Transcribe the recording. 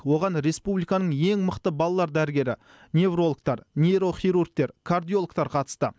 оған республиканың ең мықты балалар дәрігері неврологтар нейрохирургтар кардиологтар қатысты